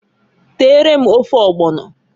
Teere m ofe ọgbọnọǃ